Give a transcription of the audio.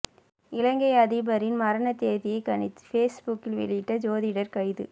இலங்கை அதிபரின் மரண தேதியை கணித்து ஃபேஸ்புக்கில் வெளியிட்ட ஜோதிடர் கைது